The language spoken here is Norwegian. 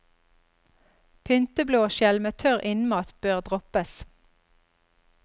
Pynteblåskjell med tørr innmat bør droppes.